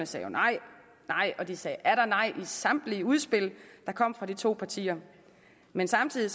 sagde nej nej og de sagde atter nej i samtlige udspil der kom fra de to partier men samtidig